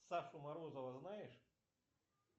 сашу морозова знаешь